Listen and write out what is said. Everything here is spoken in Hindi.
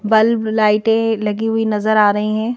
बल्ब लाइटें लगी हुई नजर आ रही है।